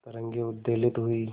तरंगे उद्वेलित हुई